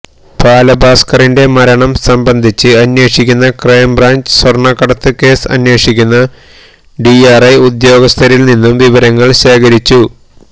ബാലഭാസ്ക്കറിന്റെ മരണം സംബന്ധിച്ച് അന്വേഷിക്കുന്ന ക്രൈംബ്രാഞ്ച് സ്വർണ്ണക്കടത്ത് കേസ് അന്വേഷിക്കുന്ന ഡിആർഐ ഉദ്യോഗസ്ഥരിൽ നിന്നും വിവരങ്ങൾ ശേഖരിച്ചു